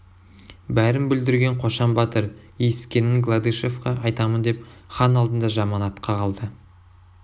бәрін бүлдірген қошан батыр есіткенін гладышевқа айтамын деп хан алдында жаман атқа қалды